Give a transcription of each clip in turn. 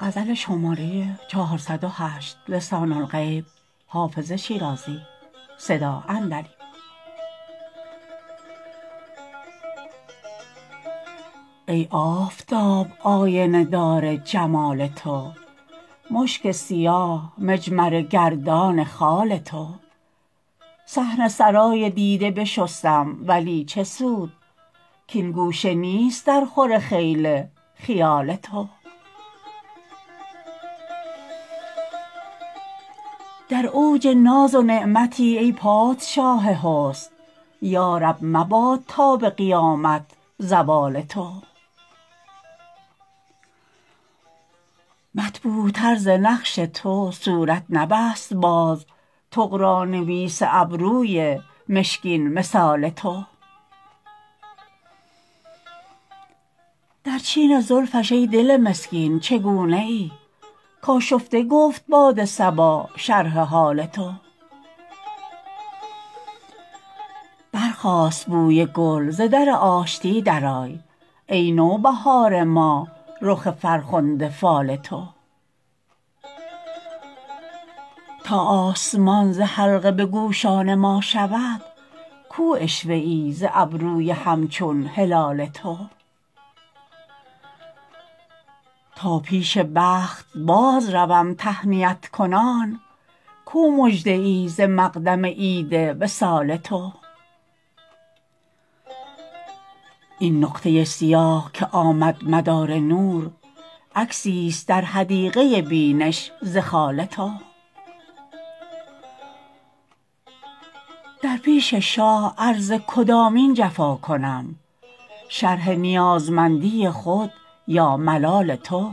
ای آفتاب آینه دار جمال تو مشک سیاه مجمره گردان خال تو صحن سرای دیده بشستم ولی چه سود کـ این گوشه نیست درخور خیل خیال تو در اوج ناز و نعمتی ای پادشاه حسن یا رب مباد تا به قیامت زوال تو مطبوعتر ز نقش تو صورت نبست باز طغرانویس ابروی مشکین مثال تو در چین زلفش ای دل مسکین چگونه ای کآشفته گفت باد صبا شرح حال تو برخاست بوی گل ز در آشتی درآی ای نوبهار ما رخ فرخنده فال تو تا آسمان ز حلقه به گوشان ما شود کو عشوه ای ز ابروی همچون هلال تو تا پیش بخت بازروم تهنیت کنان کو مژده ای ز مقدم عید وصال تو این نقطه سیاه که آمد مدار نور عکسیست در حدیقه بینش ز خال تو در پیش شاه عرض کدامین جفا کنم شرح نیازمندی خود یا ملال تو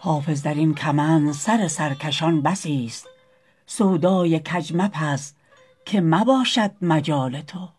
حافظ در این کمند سر سرکشان بسیست سودای کج مپز که نباشد مجال تو